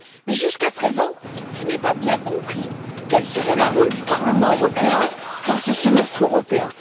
Mais jusqu'à présent, je n'ai pas bien compris quel serait le rôle du Parlement européen dans ce semestre européen.